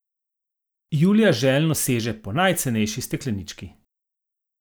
Julija željno seže po najcenejši steklenički.